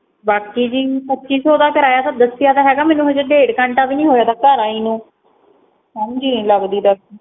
ਬਾਕੀ ਜੀ ਪੱਚੀ ਸੋ ਦਾ ਕਰਵਾਇਆ ਸਾ ਦਸਿਆ ਤਾਂ ਹੇਗਾ ਮੇਨੂ ਹਜੇ ਡੇਢ ਘੰਟਾ ਵੀ ਨਹੀ ਹੋਈਆ ਆ ਗਾ ਘਰ ਆਈ ਨੂੰ